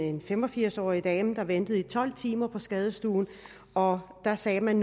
en fem og firs årig dame der ventede i tolv timer på skadestuen og der sagde man